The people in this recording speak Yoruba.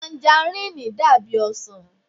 Tajaríìnì dàbí ọsàn